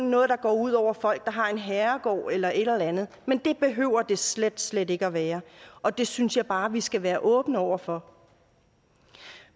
noget der går ud over folk der har en herregård eller et eller andet men det behøver det slet slet ikke at være og det synes jeg bare vi skal være åbne over for